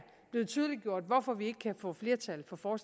blevet tydeliggjort hvorfor vi ikke kan få flertal for